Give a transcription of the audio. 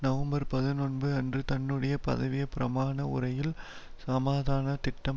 November பதனோன்பு அன்று தன்னுடைய பதவி பிரமாண உரையில் சமாதான திட்டம்